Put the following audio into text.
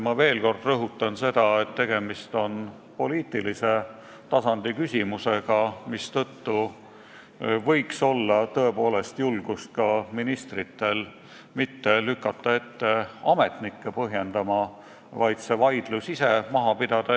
Ma veel kord rõhutan seda, et tegemist on poliitilise tasandi küsimusega, mistõttu võiks ministritel tõepoolest olla julgust mitte lükata ette ametnikke põhjendama, vaid see vaidlus ise maha pidada.